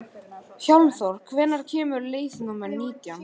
Hjálmþór, hvenær kemur leið númer nítján?